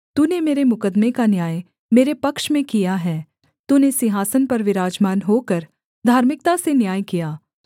तूने मेरे मुकद्दमे का न्याय मेरे पक्ष में किया है तूने सिंहासन पर विराजमान होकर धार्मिकता से न्याय किया